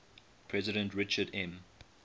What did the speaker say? president richard m